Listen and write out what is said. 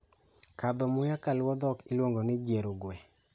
Kadho muya kaluwo dhok iluongo ni Jiero gwe.